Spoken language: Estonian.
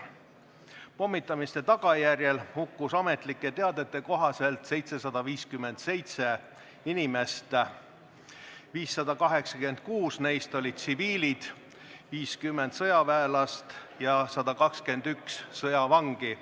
Pommitamise tagajärjel hukkus ametlike teadete kohaselt 757 inimest, sh 586 tsiviilisikut, 50 sõjaväelast ja 121 sõjavangi.